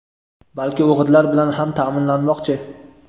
balki o‘g‘itlar bilan ham ta’minlamoqchi.